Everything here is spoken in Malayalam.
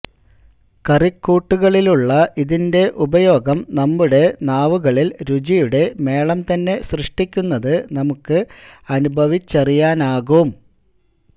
കറിക്കൂട്ടുകളിലുള്ള ഇതിൻറെ ഉപയോഗം നമ്മുടെ നാവുകളിൽ രുചിയുടെ മേളം തന്നെ സൃഷ്ടിക്കുന്നത് നമുക്ക് അനുഭവിച്ചറിയാനാകും